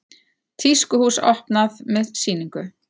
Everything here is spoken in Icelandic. Tískuhús opnað með sýningu